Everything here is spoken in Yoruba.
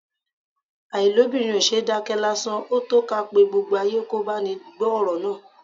Àìlóbìnrin ò ṣeé dákẹ́ lásán; ó tó ká pe gbogbo ayé kò báni gbọ́ ọ̀rọ̀ náà.